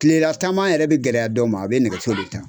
Tilela taama yɛrɛ bɛ gɛlɛya dɔw ma a bɛ nɛgɛso de ta.